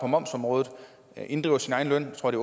momsområdet inddriver sin egen løn jeg tror det